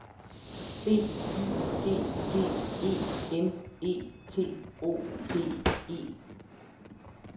B Y G G E M E T O D E